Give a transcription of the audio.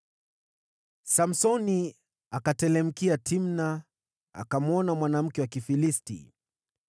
Samsoni akateremkia Timna, akamwona mwanamke wa Kifilisti.